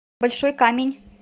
большой камень